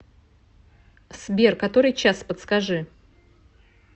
сбер который час подскажи